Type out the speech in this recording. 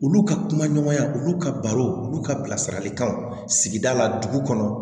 Olu ka kumaɲɔgɔnya olu ka baro olu ka bilasiralikanw sigida la dugu kɔnɔ